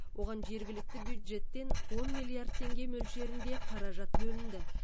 оған жергілікті бюджеттен он миллиард теңге мөлшерінде қаражат бөлінді